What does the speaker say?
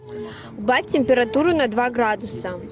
убавь температуру на два градуса